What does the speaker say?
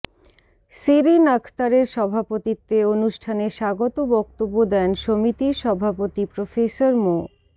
শিরীণ আখতারের সভাপতিত্বে অনুষ্ঠানে স্বাগত বক্তব্য দেন সমিতির সভাপতি প্রফেসর মো